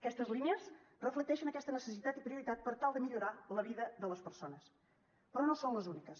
aquestes línies reflecteixen aquesta necessitat i prioritat per tal de millorar la vida de les persones però no són les úniques